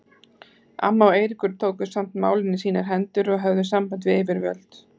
Amma og Eiríkur tóku samt málin í sínar hendur og höfðu samband við yfirvöld.